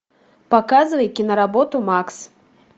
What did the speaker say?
показывай киноработу макс